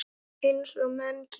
Eins og menn gera.